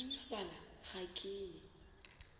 go ngangabala ga ke ye